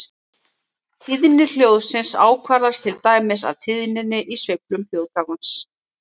Tíðni hljóðsins ákvarðast til dæmis af tíðninni í sveiflum hljóðgjafans.